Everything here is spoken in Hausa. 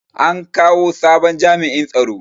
An kawo sabon jami'in tsaro.